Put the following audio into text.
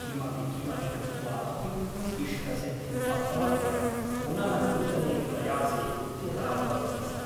किमपि किमपि कृत्वा अपि इष्टसिद्धिम् अप्राप्य पुनः नूतने प्रयासे उद्यता भवति सा ।